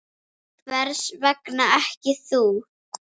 Hvers vegna ekki þú?